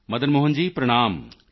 ਮਦਨ ਮੋਹਨ ਜੀ ਪ੍ਰਣਾਮ